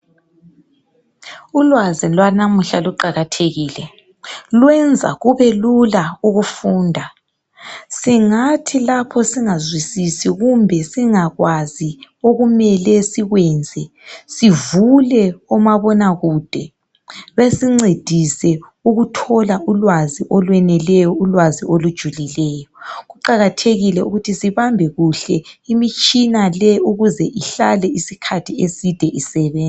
Ulwazi lwanamuhla luqakathekile. Lwenza kubelula ukufunda. Singathi lapho singazwisisi, kumbe singakwazi, okumele sikwenze. Sivule omabonakude. Besincedise ukuthola ulwazi okweneleyo, ulwazi olweneleyo, ulwazi olujulileyo. Kuqakathekile ukuthi sibambe kuhle imitshina le ukuze ihlale isikhathi eside isebenza.